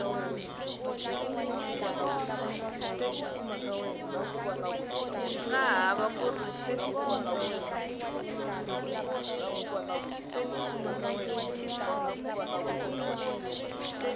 nga ha va ku ri